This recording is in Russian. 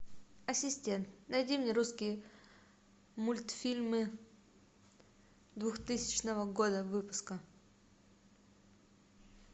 ассистент найди мне русские мультфильмы двухтысячного года выпуска